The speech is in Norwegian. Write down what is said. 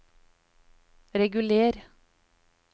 reguler